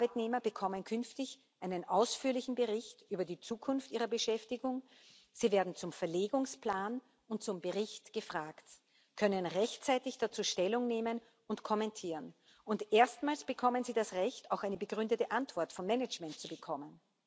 Arbeitnehmer bekommen künftig einen ausführlichen Bericht über die Zukunft ihrer Beschäftigung, sie werden zum Verlegungsplan und zum Bericht gefragt, können rechtzeitig dazu Stellung nehmen und kommentieren, und erstmals bekommen sie das Recht, auch eine begründete Antwort von Managment zu bekommen.